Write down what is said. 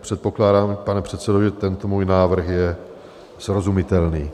Předpokládám, pane předsedo, že tento můj návrh je srozumitelný.